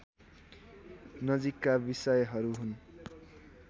नजिकका विषयहरू हुन्